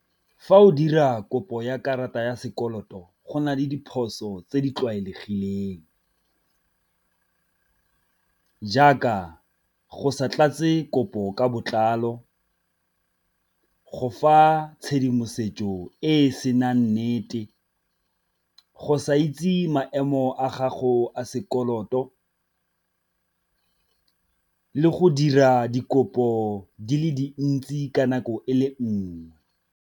Fa o dira kopo ya karata ya sekoloto go na le diphoso tse di tlwaelegileng, jaaka go sa tlatse kopo ka botlalo, go fa tshedimosetso e e senang nnete, go sa itse maemo a gago a sekoloto le go dira dikopo di le dintsi ka nako e le nngwe.